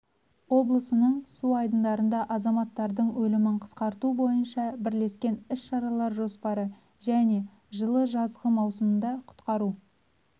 облысының су айдындарында азаматтардың өлімін қысқарту бойынша бірлескен іс-шаралар жоспары және жылы жазғы маусымында құтқару